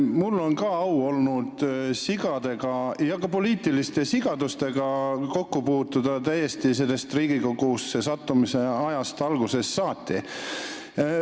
Mul on olnud au puutuda sigadega ja ka poliitiliste sigadustega kokku täiesti minu Riigikogusse sattumise algusajast saati.